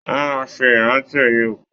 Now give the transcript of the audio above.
Wọn máa n ṣe ìrántí ẹyẹ òkú.